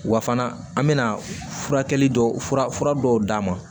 Wa fana an bɛna furakɛli dɔw fura fura dɔw d'a ma